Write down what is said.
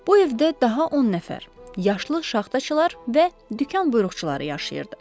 Bu evdə daha 10 nəfər yaşlı şaxtaçılar və dükan buyuruqçuları yaşayırdı.